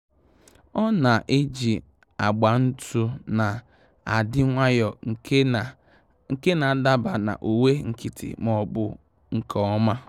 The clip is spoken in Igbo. Ọ́ nà-ejì agba ntụ́ nà-adị́ nwayọ́ọ́ nke nà-ádaba na uwe nkịtị ma ọ́ bụ nke ọma. um